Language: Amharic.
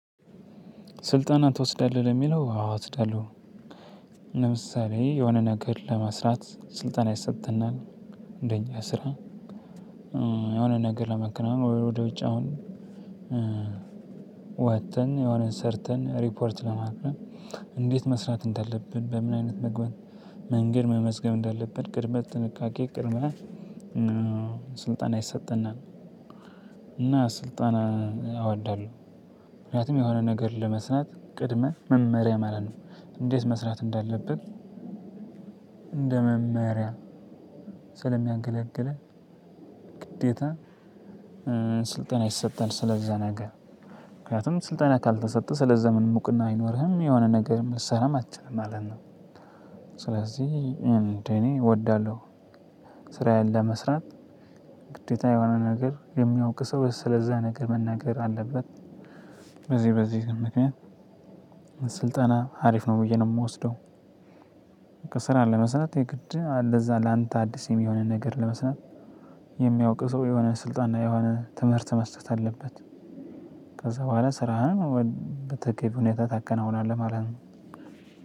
ስልጠና ትወስዳለህ ለሚለው አዎ እወስዳለሁ። ለምሳሌ የሆነ ነገር ለመስራት ስልጠና ይሰጠናል እንደኛ ስራ የሆነ ነገር ለማከናወን ወደ ውጭ አሁን ወጥተን የሆነ ሰርተን ሪፖርት ለማቅረብ። እንዴት መስራት እንዳለብን በምን አይነት መንገድ መመዝገብ እንዳለብን ቅድመ ጥንቃቄ ቅድመ ስልጠና ይሰጠናል። እና ስልጠና አወዳለሁ። ምክንያቱም የሆነ ነገር ለመስራት ቅድመ መመሪያ ማለት ነው። እንዴት መስራት እንዳለብህ እንደ መመሪያ ስለሚያገለግል ግዴታ ስልጠና ይሰጣል ስለዛ ነገር። ምክንያቱም ስልጠና ካልተሰጠ ስለዛ ምን እውቅና አይኖርህም የሆነ ነገር ልሰራም አትችልም ማለት ነው። ስለዚህ እንደኔ እወዳለሁ። ስራዬን ለመስራት ግዴታ የሆነ ነገር የሚያውቅ ሰው ስለዛ ነገር መናገር አለበት። በዚህ በዚህ ምክንያት ስልጠና አሪፍ ነው ብዬ ነው የምወስደው። ስራ ለመስራት የግድ ለዛ ላንተ አዲስ የሚሆንን ነገር ለመስራት የሚያውቅ ሰው የሆነ ስልጣን ላይ የሆነ ትምህርት መስጠት አለበት። ከዛ በሁዋላ ስራህን በተገቢው ሁኔታ ታከናውናለክ ማለት ነው።